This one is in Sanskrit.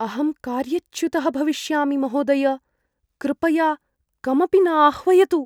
अहं कार्यच्युतः भविष्यामि, महोदय! कृपया कमपि न आह्वयतु।